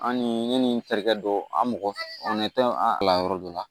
An ni ne ni n terikɛ dɔ an mɔgɔ tɛ an kalan yɔrɔ dɔ la